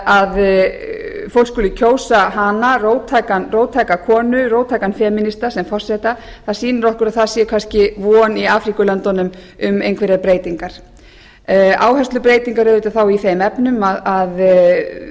að fólk skuli kjósa hana róttæka konu róttækan femínista sem forseta það sýnir okkur að það sé kannski von í afríkulöndunum um einhverjar breytingar áherslubreytingar auðvitað þá í þeim efnum að